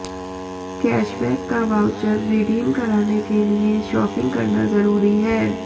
cashback का voucher redeem कराने के लिए शॉपिंग करना जरूरी है